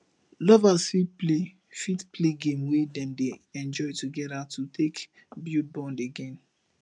lovers fit play fit play game wey dem dey enjoy together to take bulid bond again